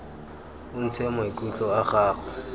o ntshe maikutlo a gago